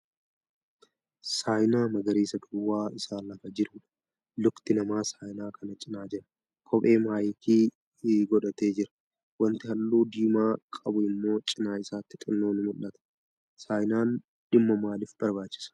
Saayinaa magariisa duwwaa isaa lafa jirudha. Lukti namaa saayinaa kana cinaa jira. Kophee naayikii godhatee jira. Wanti halluu diimaa qabu immoo cina isaatti xinnoo ni mul'ata. Saayinaan dhimma maalif barbaachisa?